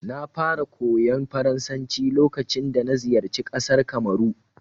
Na fara koyon Faransanci lokacin dana ziyarci ƙasar Kamaru.